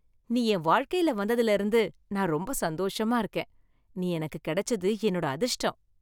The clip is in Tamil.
நீ என் வாழ்க்கையில வந்ததுல இருந்து நான் ரொம்ப சந்தோஷமா இருக்கேன். நீ எனக்கு கிடைச்சது என்னோட அதிர்ஷ்டம்.